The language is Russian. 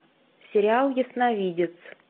сериал ясновидец